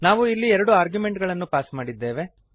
ನಾವು ಇಲ್ಲಿ ಎರಡು ಆರ್ಗ್ಯುಮೆಂಟುಗಳನ್ನು ಪಾಸ್ ಮಾಡಿದ್ದೇವೆ